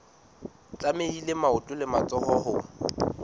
tlamehile maoto le matsoho ho